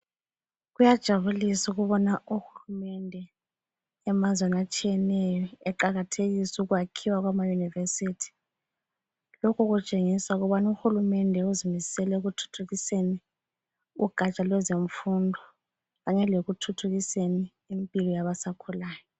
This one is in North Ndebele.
Kuyajabulisa ukubona uhulumende emazweni atshiyeneyo eqakathekisa ukwakhiwa kwama-yunivesithi. Lokhu kutshengisa ukubana uhulumende uzimisele ekuthuthukiseni ugatsha lwezemfundo kanye lekuthuthukiseni impilo yabasakhulayo.